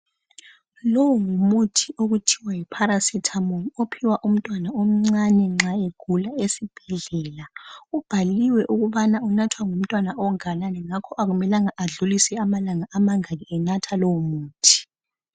Lo ngumuthi okuthiwa yiParacetamol ophiwa umntwana omncane nxa egula esibhedlela. Ubhaliwe ukubana unathwa ngumntwana onganani ngakho akumelanga adlulise amalanga amangaki enatha lowo muthi